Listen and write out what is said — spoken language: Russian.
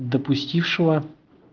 допустившего